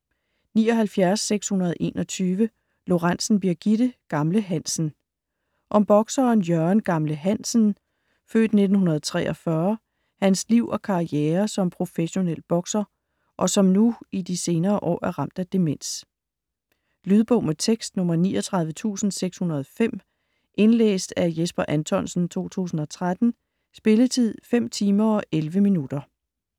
79.621 Lorentzen, Birgitte: Gamle Hansen Om bokseren Jørgen "Gamle" Hansens (f. 1943) liv og karriere som professionel bokser, og som nu i de senere år er ramt af demens. Lydbog med tekst 39605 Indlæst af Jesper Anthonsen, 2013. Spilletid: 5 timer, 11 minutter.